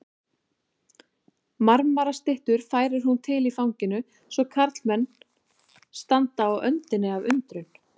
Marmarastyttur færir hún til í fanginu svo að karlmenn standa á öndinni af undrun.